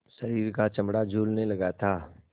शरीर का चमड़ा झूलने लगा था